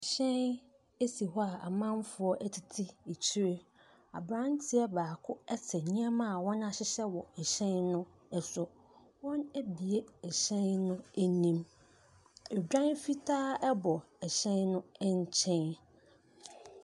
Hyɛn esi hɔ a amanfoɔ ɛtete akyire. Abranteɛ baako ɛte nneɛma wɔn ahyehyɛ wɔ ɛhyɛn no ɛso. Wɔn abue ɛhyɛn no anim. Odwan fitaa ɛbɔ ɛhyɛn no ɛnkyɛn.